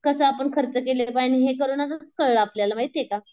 कसं आपण खर्च केलं पाहिजे आणि हे कोरोनातच कळलं आपल्याला माहिती ये का.